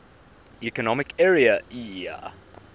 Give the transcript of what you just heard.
economic area eea